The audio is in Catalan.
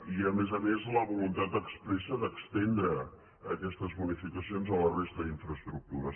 i a més a més la voluntat expressa d’estendre aquestes bonificacions a la resta d’infraestructures